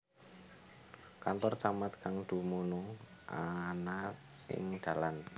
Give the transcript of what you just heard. Kantor Camat kang dumunung ana ing dalan